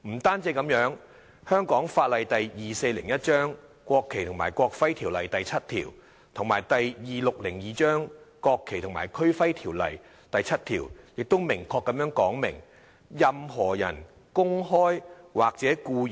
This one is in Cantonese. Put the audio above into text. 不僅如此，香港法例第2401章《國旗及國徽條例》第7條及第2602章《區旗及區徽條例》第7條也明確說明："任何人公開及故意......